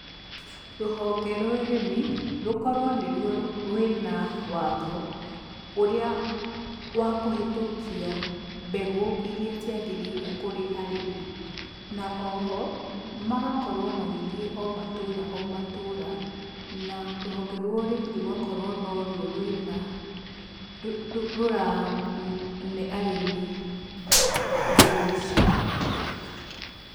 Rũhonge rwa ũrĩmi rũkorwo nĩruo rwĩna watho ũrĩa wa kũhĩtũkia mbegũ iria ciagĩrĩire kũrĩ arĩmi. Na oho, magakorwo magĩthiĩ o matũũra o matũũra na rũhonge rwa ũrĩmi rũgakorwo norwo rwĩna, rũrane arĩmi mbegũ ici.